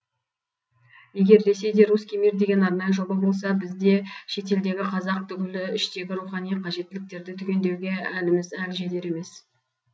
егер ресейде русский мир деген арнайы жоба болса бізде шетелдегі қазақ түгілі іштегі рухани қажеттіліктерді түгендеуге әліміз әлі жетер емес